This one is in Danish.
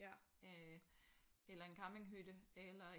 Øh eller en campinghytte eller en